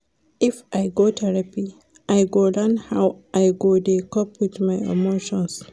If I go therapy, I go learn how I go dey cope wit my emotions.